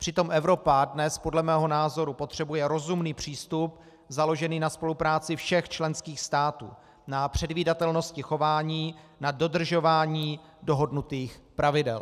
Přitom Evropa dnes podle mého názoru potřebuje rozumný přístup, založený na spolupráci všech členských států, na předvídatelnosti chování, na dodržování dohodnutých pravidel.